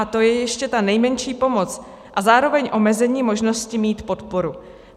A to je ještě ta nejmenší pomoc a zároveň omezení možnosti mít podporu.